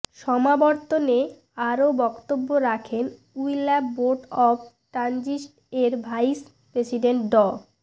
সমাবর্তনে আরও বক্তব্য রাখেন ইউল্যাব বোর্ড অব ট্রাস্টিজ এর ভাইস প্রেসিডেন্ট ড